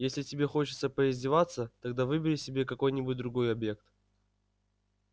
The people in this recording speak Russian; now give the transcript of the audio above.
если тебе хочется поиздеваться тогда выбери себе какой-нибудь другой объект